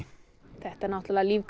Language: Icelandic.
þetta náttúrulega